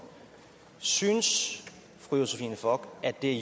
synes fru josephine fock at det er